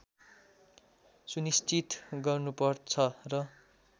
सुनिश्चित गर्नुपर्छ र